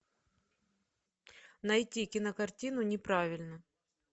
найти кинокартину неправильно